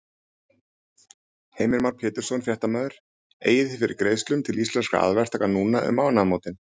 Heimir Már Pétursson, fréttamaður: Eigið þið fyrir greiðslum til Íslenskra aðalverktaka núna um mánaðamótin?